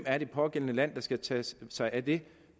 er det pågældende land der skal tage sig af det